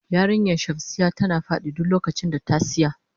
Yarinyan shamsiya tana fadi duk lokacin da ta siya.